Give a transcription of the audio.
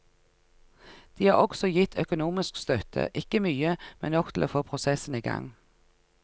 De har også gitt økonomisk støtte, ikke mye, men nok til å få prosessen i gang.